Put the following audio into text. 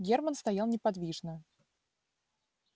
германн стоял неподвижно